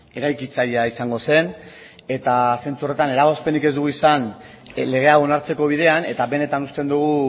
eraikitzailea izango zen eta zentzu horretan eragozpenik ez dugu izan lege hau onartzeko bidean eta benetan uste dugu